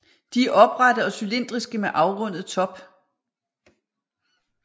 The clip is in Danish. De er oprette og cylindriske med afrundet top